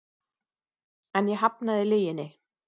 En ég hafnaði lyginni.